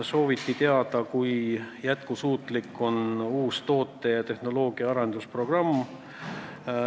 Sooviti teada, kui jätkusuutlik on uus toote- ja tehnoloogiaarenduse programm.